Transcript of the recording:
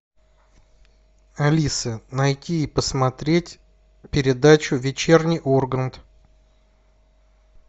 алиса найти и посмотреть передачу вечерний ургант